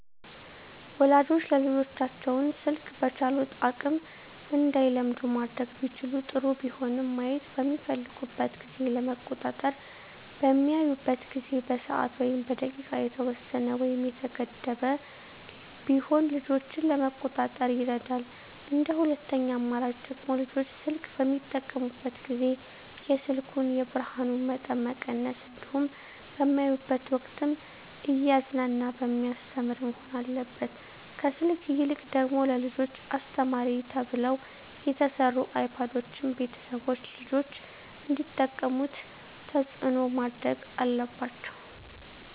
ወላጆች ልጆቻቸውን ስልክ በቻሉት አቅም እንዳይለምዱ ማድረግ ቢችሉ ጥሩ ቢሆንም ማየት በሚፈልጉበት ጊዜ ለመቆጣጠር በሚያዩበት ጊዜ በሰዓት ወይም በደቂቃ የተወሰነ ወይም የተገደበ ቢሆን ልጆችን ለመቆጣጠር ይረዳል እንደ ሁለተኛ አማራጭ ደግሞ ልጆች ስልክ በሚጠቀሙበት ጊዜ የስልኩን የብርሀኑን መጠን መቀነስ እንዲሁም በሚያዩበት ወቅትም እያዝናና በሚያስተምር መሆን አለበት ከስልክ ይልቅ ደግሞ ለልጆች አስተማሪ ተብለው የተሰሩ አይፓዶችን ቤተሰቦች ልጆች እንዲጠቀሙት ተፅዕኖ ማድረግ አለባቸው።